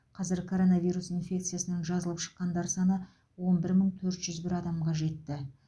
қазір коронавирус инфекциясынан жазылып шыққандар саны он бір мың төрт жүз бір адамға жетті